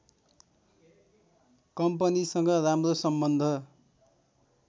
कम्पनीसँग राम्रो सम्बन्ध